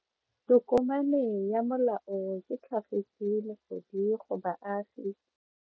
Tokomane ya molao ke tlhagisi lesedi go baagi.